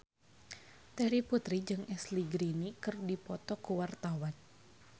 Terry Putri jeung Ashley Greene keur dipoto ku wartawan